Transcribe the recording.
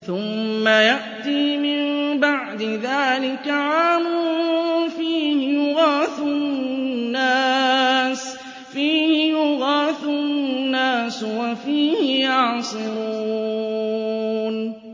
ثُمَّ يَأْتِي مِن بَعْدِ ذَٰلِكَ عَامٌ فِيهِ يُغَاثُ النَّاسُ وَفِيهِ يَعْصِرُونَ